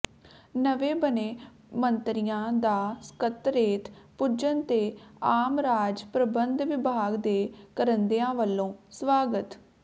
ਨਵੇਂ ਬਣੇ ਮੰਤਰੀਆਂ ਦਾ ਸਕੱਤਰੇਤ ਪੁੱਜਣ ਤੇ ਆਮ ਰਾਜ ਪ੍ਰਬੰਧ ਵਿਭਾਗ ਦੇ ਕਰਿੰਦਿਆਂ ਵਲੋਂ ਸਵਾਗਤ